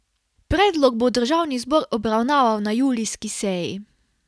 Predlog bo državni zbor obravnaval na julijski seji.